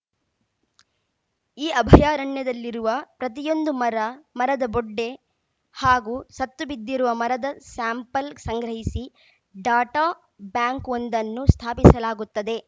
ಈ ಅಭಯಾರಣ್ಯದಲ್ಲಿರುವ ಪ್ರತಿಯೊಂದು ಮರ ಮರದ ಬೊಡ್ಡೆ ಹಾಗೂ ಸತ್ತುಬಿದ್ದಿರುವ ಮರದ ಸ್ಯಾಂಪಲ್‌ ಸಂಗ್ರಹಿಸಿ ಡಾಟಾ ಬ್ಯಾಂಕ್‌ ಒಂದನ್ನು ಸ್ಥಾಪಿಸಲಾಗುತ್ತದೆ